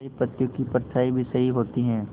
सही पत्तियों की परछाईं भी सही होती है